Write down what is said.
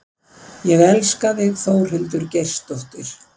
Ég elska þig Þórhildur Geirsdóttir.